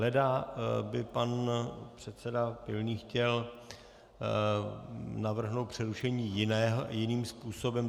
Leda by pan předseda Pilný chtěl navrhnout přerušení jiným způsobem.